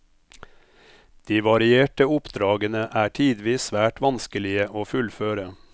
De varierte oppdragene er tidvis svært vanskelige å fullføre.